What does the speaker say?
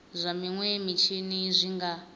zwa minwe mitshini zwi nga